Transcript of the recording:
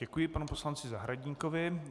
Děkuji panu poslanci Zahradníkovi.